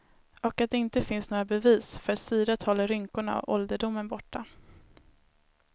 Och att det inte finns några bevis för syret håller rynkorna och ålderdomen borta.